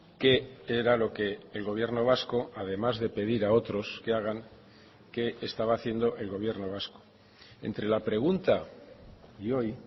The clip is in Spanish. qué era lo que el gobierno vasco además de pedir a otros que hagan qué estaba haciendo el gobierno vasco entre la pregunta y hoy